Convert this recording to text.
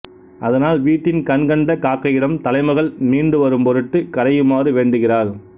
அதனால் வீட்டின் கண் கண்ட காக்கையிடம் தலைமகள் மீண்டு வரும்பொருட்டு கரையுமாறு வேண்டுகிறாள்